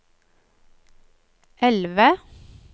elve